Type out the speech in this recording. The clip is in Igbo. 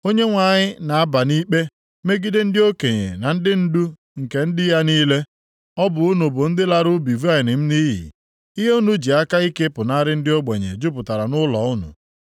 Onyenwe anyị na-aba nʼikpe megide ndị okenye na ndị ndu nke ndị ya niile. + 3:14 Nʼihi na ọ bụ ha na-emegbu ndị ya Ọ bụ unu bụ ndị lara ubi vaịnị m nʼiyi; ihe unu ji aka ike pụnara ndị ogbenye jupụtara nʼụlọ unu.